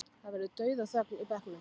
Það verður dauðaþögn í bekknum.